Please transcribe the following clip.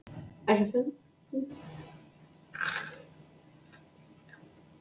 Ætli það sé ekki best að ég hætti þessu bara.